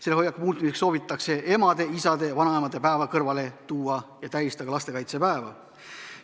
Selle hoiaku muutmiseks soovitatakse emade, isade, vanavanemate päeva kõrval tähistada ka lastekaitsepäeva.